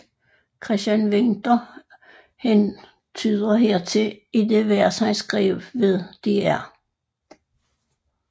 Christian Winther hentyder hertil i det vers han skrev ved Dr